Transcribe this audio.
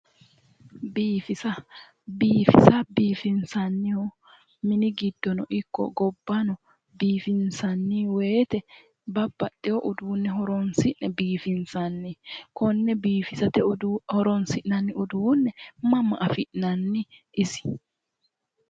Biifisa. biifisa biifinsannihu mini giddono ikko gobbano biifinsanni woyiite babbaxewo uduunne horonsi'ne biifinsanni konne biifisate horonsi'nanni uduunne mama afi'nannini isi?